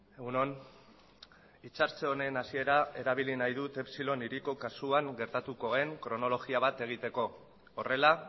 egun on itzartze honen hasiera erabili nahi dut epsilon hiriko kasuan gertatuko den kronologia bat egiteko horrela